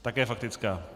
Také faktická.